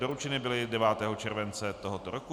Doručeny byly 9. července tohoto roku.